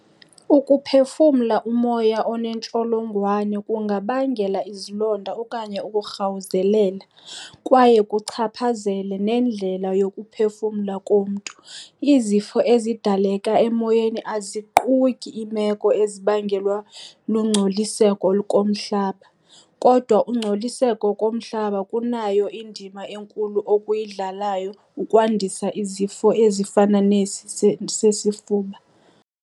Ukuphefumla umoya oneentsholongwane kungabangela izilonda okanye ukurhawuzelela, kwaye kuchaphazele nendlela yokuphefumla komntu. Izifo ezidaleka emoyeni aziquki iimeko ezibangelwa lungcoliseko komhlaba, kodwa ungcoliseko komhlaba kunayo indima enkulu okuyidlalayo ukwandisa izifo ezifana nesi sesifuba.